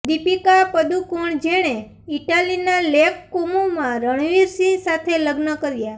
દીપિકા પદુકોણ જેણે ઈટાલીના લેક કોમોમાં રણવીરસિંહ સાથે લગ્ન કર્યા